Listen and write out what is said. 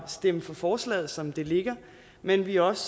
stemme for forslaget som det ligger men vi er også